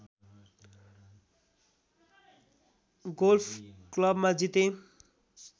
golf क्लबमा जिते